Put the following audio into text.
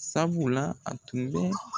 Sabula a tun bɛ